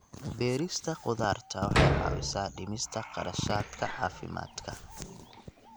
Beerista khudaarta waxay caawisaa dhimista kharashaadka caafimaadka.